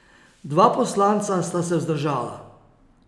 Dva poslanca sta se vzdržala.